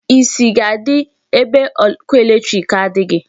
Isi ga-adi ébé ọkụ electric adịghị.